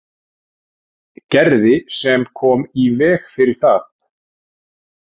Gerði sem kom í veg fyrir það.